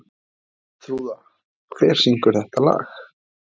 Þrúða, hver syngur þetta lag?